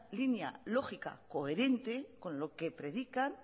línea lógica y coherente con lo que predican